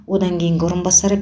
одан кейінгі орынбасарлары